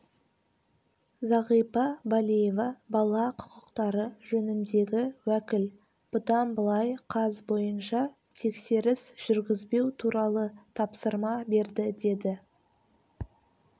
зағипа балиева бала құқықтары жөніндегі уәкіл бұдан былай қаз бойынша тексеріс жүргізбеу туралы тапсырма берді деді